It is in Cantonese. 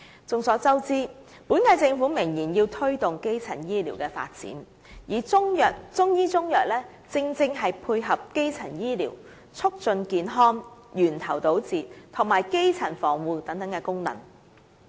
眾所周知，本屆政府明言要推動基層醫療的發展，而中醫中藥正好可配合基層醫療促進健康、源頭堵截及基層防護等功能。